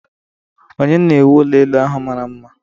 Ònye na-ewu ụlọ elu ahụ mara mma?